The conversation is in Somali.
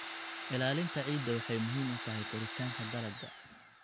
Ilaalinta ciidda waxay muhiim u tahay koritaanka dalagga.